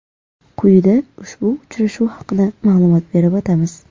Quyida ushbu uchrashuv haqida ma’lumot berib o‘tamiz.